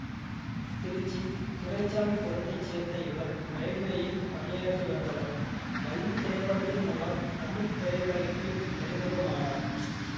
திருச்சி துரைசாமிபுரத்தை சேர்ந்த இவர் ரயில்வேயில் பணியாற்றி வந்தவர் வள்ளி திரைப்படத்தின் மூலம் தமிழ் திரையுலகிற்கு அறிமுகமானார்